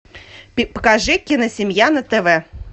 покажи киносемья на тв